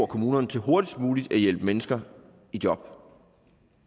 kommunerne til hurtigst muligt at hjælpe mennesker i job